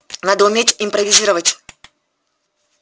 надо уметь импровизировать